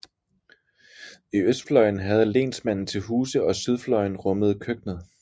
I østfløjen havde lensmanden til huse og sydfløjen rummede køkkenet